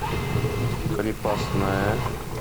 крепостная